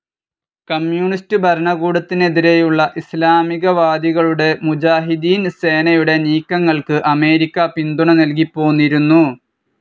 Communist ഭരണകൂടത്തിനെതിരെയുള്ള ഇസ്ലാമികവാദികളുടെ മുജാഹിദീൻ സേനയുടെ നീക്കങ്ങൾക്ക്‌ അമേരിക്ക പിന്തുണ നൽകിപ്പോന്നിരുന്നു.